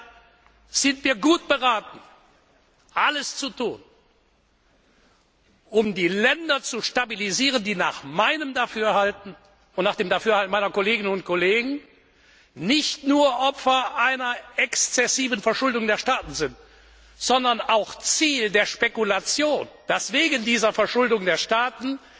Deshalb sind wir gut beraten, alles zu tun, um die Länder zu stabilisieren, die nach meinem Dafürhalten und nach dem Dafürhalten meiner Kolleginnen und Kollegen nicht nur Opfer einer exzessiven Verschuldung der Staaten sind, sondern auch Ziel der Spekulation, dass man wegen dieser Verschuldung der Staaten